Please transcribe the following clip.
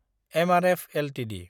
MRF Ltd